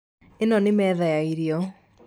ĩno nĩ metha ya irio